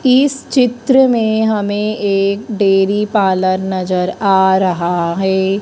इस चित्र ने हमें एक डेरी पालन नजर आ रहा है।